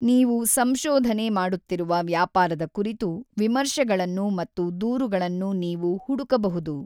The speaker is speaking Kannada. ನೀವು ಸಂಶೋಧನೆ ಮಾಡುತ್ತಿರುವ ವ್ಯಾಪಾರದ ಕುರಿತು ವಿಮರ್ಶೆಗಳನ್ನು ಮತ್ತು ದೂರುಗಳನ್ನು ನೀವು ಹುಡುಕಬಹುದು.